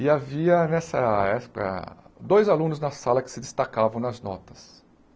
E havia nessa dois alunos na sala que se destacavam nas notas.